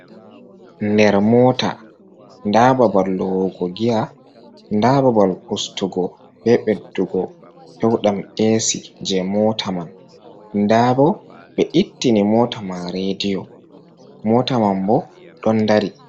Nder mota nda babal lowugo giya, nda babal ustugo be ɓeddugo pewdam esi je mota man, nda bo be ittini mota man rediyo mota man bo ɗon dari.